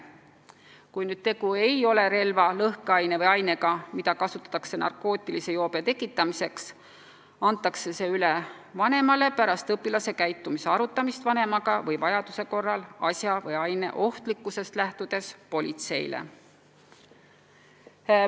Kui tegu ei ole relva, lõhkeaine või ainega, mida kasutatakse narkootilise joobe tekitamiseks, antakse see üle vanemale pärast õpilase käitumise arutamist vanemaga või vajaduse korral asja või aine ohtlikkusest lähtudes politseile.